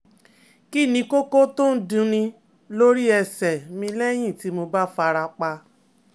Kí ni koko to n dunní lórí ẹsẹ̀ mi lẹ́yìn tí mo bá fara pa?